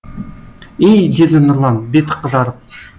ей деді нұрлан беті қызарып